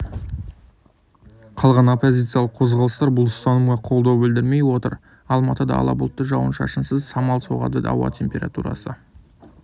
қалған оппозициялық қозғалыстар бұл ұстанымға қолдау білдірмей отыр алматыда ала бұлтты жауын-шашынсыз самал соғады ауа температурасы